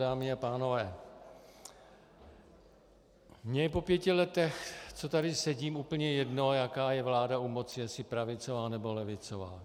Dámy a pánové, mně je po pěti letech, co tady sedím, úplně jedno, jaká je vláda u moci, jestli pravicová, nebo levicová.